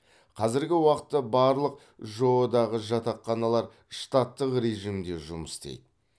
қазіргі уақытта барлық жоо дағы жатақханалар штаттық режимде жұмыс істейді